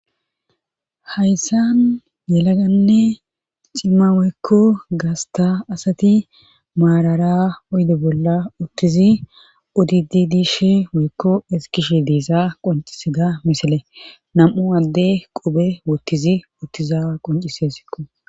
Hayssan yelaganne cimma weykko gasta asati maarara oyde bolla uttizi odidi dishe weekko eskishe deesa qoncise ga misile nam'u alde qobe wottizi uttiza qoncisesikko.